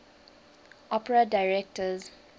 opera directors